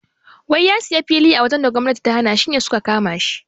Wai ya siya fili a wajan da gwamnati ta hana shine suka kamashi